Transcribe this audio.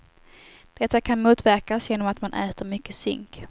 Detta kan motverkas genom att man äter mycket zink.